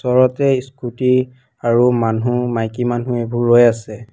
ওচৰতে স্কুটী আৰু মানুহ মাইকী মানুহ এইবোৰ ৰৈ আছে।